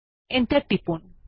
enter টিপুন